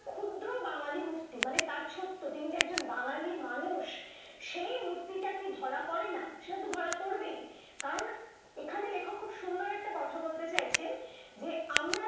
ক্ষুদ্র বাঙালি মূর্তি মানে তার ছোট্ট তিনি যে একজন বাঙালি মানুষ সেই মূর্তিটাকে ধরা পড়ে না সেটা তো ধরা পড়বেই কারণ এখানে লেখক খুব একটা সুন্দর কথা বলতে চাইছেন যে আমরা